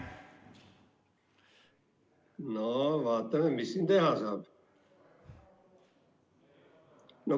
No vaatame, mis siin teha saab.